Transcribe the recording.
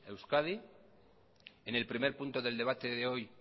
euskadi en el primer punto del debate de hoy